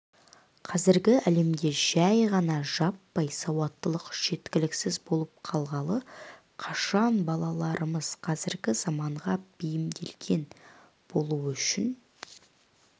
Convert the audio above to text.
қазіргі әлемде жай ғана жаппай сауаттылық жеткіліксіз болып қалғалы қашан балаларымыз қазіргі заманға бейімделген болуы үшін